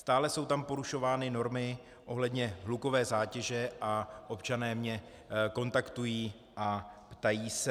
Stále jsou tam porušovány normy ohledně hlukové zátěže a občané mě kontaktují a ptají se.